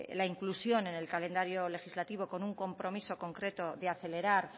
la inclusión en el calendario legislativo con un compromiso concreto de acelerar